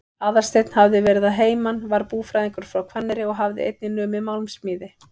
Aðalsteinn hafði verið að heiman, var búfræðingur frá Hvanneyri og hafði einnig numið málmsmíði.